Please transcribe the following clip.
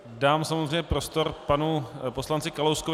Dám samozřejmě prostor panu poslanci Kalouskovi.